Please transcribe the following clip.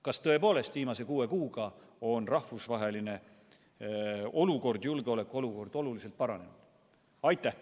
Kas tõepoolest on viimase kuue kuuga rahvusvaheline julgeolekuolukord oluliselt paranenud?